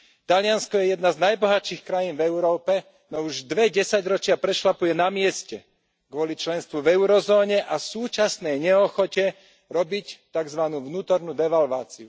Taliansko je jedna z najbohatších krajín v Európe, no už dve desaťročia prešľapuje na mieste kvôli členstvu v eurozóne a súčasnej neochote robiť takzvanú vnútornú devalváciu.